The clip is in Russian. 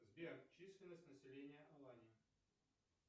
сбер численность населения алания